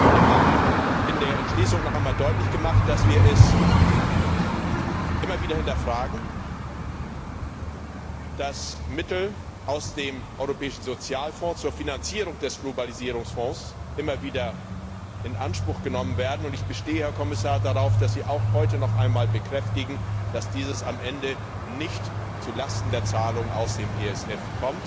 Wir haben in der Entschließung noch einmal deutlich gemacht, dass wir es immer wieder hinterfragen, dass wiederholt Mittel aus dem Europäischen Sozialfonds zur Finanzierung des Globalisierungsfonds in Anspruch genommen werden, und ich bestehe darauf, Herr Kommissar, dass Sie heute noch einmal bekräftigen, dass dies am Ende nicht zulasten der Zahlungen aus dem ESF